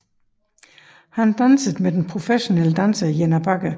Han dansede med den professionelle danser Jenna Bagge